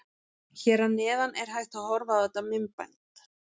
Hér að neðan er hægt að horfa á þetta myndband.